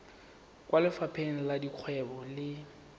kwa lefapheng la dikgwebo le